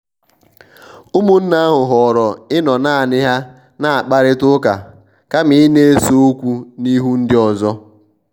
ụmụnne ahụ họọrọ ịnọ naani ha na-akparita ụka kama ịna-ese okwu n'ihu ndi ọzọ.